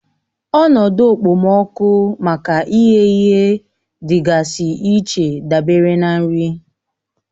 Ọnọdụ okpomọkụ maka ịghẹ ihe dịgasị iche dabere na nri